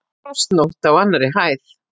Frostnótt á annarri hæð